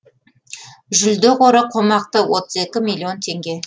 жүлде қоры қомақты отыз екі миллион теңге